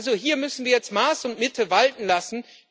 Also hier müssen wir jetzt Maß und Mitte walten lassen.